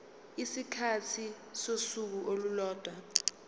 isikhathi sosuku olulodwa